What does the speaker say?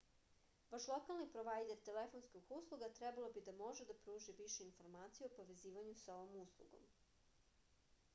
vaš lokalni provajder telefonskih usluga trebalo bi da može da pruži više informacija o povezivanju sa ovom uslugom